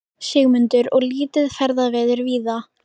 Sigmundur: Og lítið ferðaveður víða?